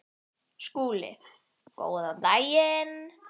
SKÚLI: Góðan daginn!